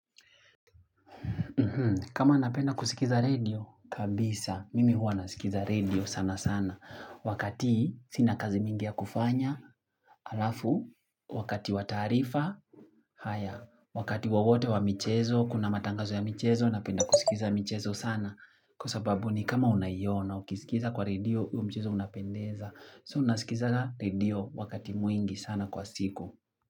Kama napenda kusikiza radio, kabisa, mimi huwa nasikiza radio sana sana. Wakati sina kazi mingi ya kufanya, alafu, wakati wa tarifa, haya, wakati wowote wa michezo, kuna matangazo ya michezo, napenda kusikiza michezo sana. Kwa sababu ni kama unaiona, ukisikiza kwa radio, huo mchezo unapendeza. So nasikiza radio wakati mwingi sana kwa siku.